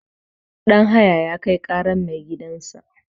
Danhaya ya Kai ƙarar maigidansa.